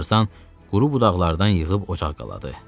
Tarzan quru budaqlardan yığıb ocaq qaladı.